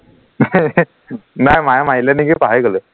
নাই মায়ে মাৰিলে নিকি পাহৰি গলো